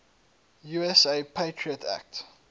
usa patriot act